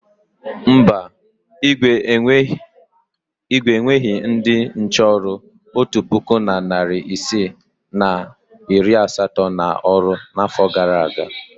Mba, Igwe eweghi ndị nche ọrụ otu puku na narị isii na iri asatọ n’ọrụ n’afọ gara aga.